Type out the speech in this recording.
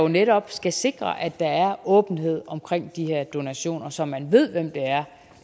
netop skal sikre at der er åbenhed omkring de her donationer så man ved hvem det er